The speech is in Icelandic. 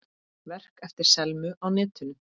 Verk eftir Selmu á netinu